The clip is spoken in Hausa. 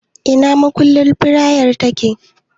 Ina makunnin fitilar yake?